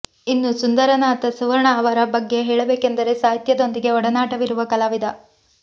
ಇನ್ನು ಸುಂದರನಾಥ ಸುವರ್ಣ ಅವರ ಬಗ್ಗೆ ಹೇಳಬೇಕೆಂದರೆ ಸಾಹಿತ್ಯ ದೊಂದಿಗೆ ಒಡನಾಟವಿರುವ ಕಲಾವಿದ